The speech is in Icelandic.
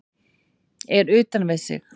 Er utan við sig